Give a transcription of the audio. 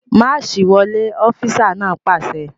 Máàṣì wọlé! Ọfísà náà pàṣẹ